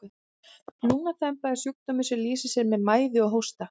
lungnaþemba er sjúkdómur sem lýsir sér með mæði og hósta